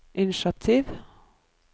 initiativ